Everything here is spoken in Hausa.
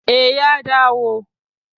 Eh, ya dawo